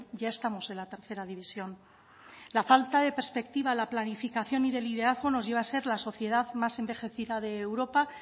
ya estamos en la tercera división la falta de perspectiva la planificación y de liderazgo nos lleva a ser la sociedad más envejecida de europa